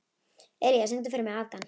Elía, syngdu fyrir mig „Afgan“.